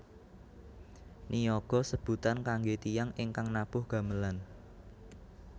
Niyaga sebutan kangge tiyang ingkang nabuh gamelan